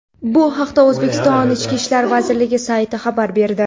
Bu haqda O‘zbekiston Ichki ishlar vazirligi sayti xabar berdi .